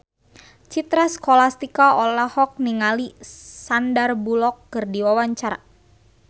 Citra Scholastika olohok ningali Sandar Bullock keur diwawancara